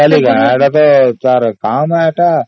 bank ର ତ କାମ ସେଇଟା